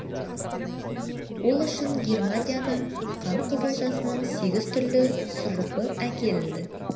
ол үшін германиядан қант қызылшасының сегіз түрлі сұрыбы әкелінді